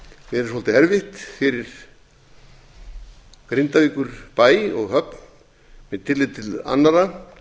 verið svolítið erfitt fyrir grindavíkurbæ og höfn með tilliti til annarra að